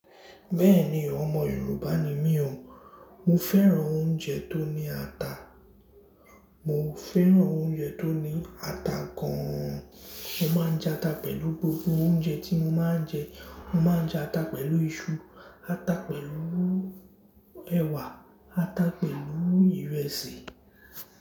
Bẹ́ẹ̀ni, ọmọ Yorùbá ni mí o, mo fẹ́ràn oúnjẹ tó ní ata, mo fẹ́ràn oúnjẹ tó ní ata gan an. Mo máa ń jẹ ata pẹ̀lú gbogbo oúnjẹ tí mo máa ń jẹ. Mo máa ń jẹ ata pẹ̀lú iṣu, ata pẹ̀lú ẹwà, ata pẹ̀lú ìrẹsì.